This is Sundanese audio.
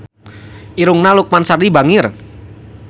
Irungna Lukman Sardi bangir